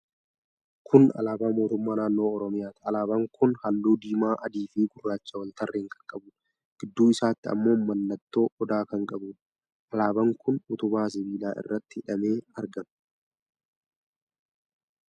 Kun alaabaa Mootummaa Naannoo Oromiyaati. Alaabaan kun halluu diimaa, adii fi gurraacha wal tarreen kan qabuudha. Gidduu isaatti ammoo mallattoo Odaa kan qabuudha. Alaabaan kun utubaa sibiilaa irratti hidhamee argama.